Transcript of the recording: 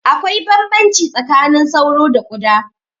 Akwai bambamci tsakanin sauro da ƙuda